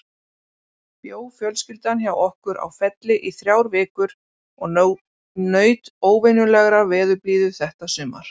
Bjó fjölskyldan hjá okkur á Felli í þrjár vikur og naut óvenjulegrar veðurblíðu þetta sumar.